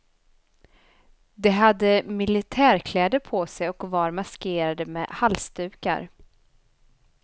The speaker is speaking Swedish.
De hade militärkläder på sig och var maskerade med halsdukar.